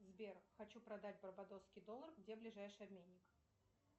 сбер хочу продать барбадосский доллар где ближайший обменник